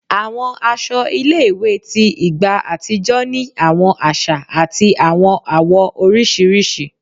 Àwọn aṣọ ilé-ìwé tí ìgbà àtijọ́ ni àwọn àṣà àti àwọn àwọ̀ oríṣiríṣi